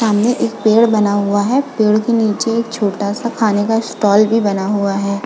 सामने एक पेड़ बना हुआ है पेड़ के नीचे एक छोटा सा खाने का स्टॉल भी बना हुआ है।